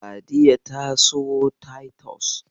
Sadiya ta siyo Taitus